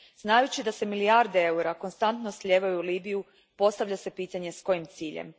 Znajući da se milijarde eura konstantno slijevaju u Libiju postavlja se pitanje s kojim ciljem?